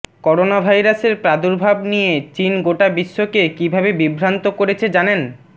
corona ভাইরাসের প্রাদুর্ভাবে নিয়ে চিন গোটা বিশ্বকে কীভাবে বিভ্রান্ত করেছে জানেন